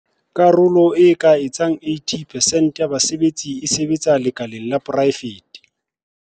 Karolo e ka etsang 80 percent ya basebetsi e sebetsa lekaleng la poraefete.